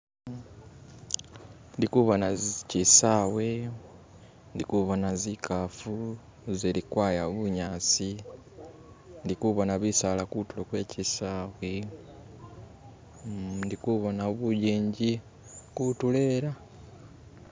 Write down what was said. Ndikubona kisawe ndikubona zikafu zilikwaya bunyasi ndikubona bisala kutulo kwe kisawe uh ndikubona bujinji kutulo elo.